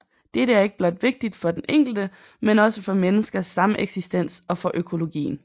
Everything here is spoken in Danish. Dette er ikke blot vigtigt for den enkelte men også for menneskers sameksistens og for økologien